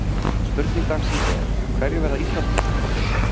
Spurning dagsins er: Hverjir verða Íslandsmeistarar?